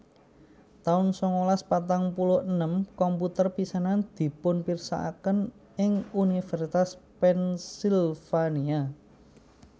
taun sangalas patang puluh enem komputer pisanan dipunpirsakaken ing Univèrsitas Pennsylvania